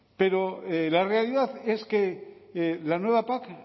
pero la realidad es que la nueva pac